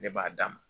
Ne b'a d'a ma